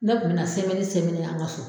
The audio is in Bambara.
Ne kun bɛ na an ka so.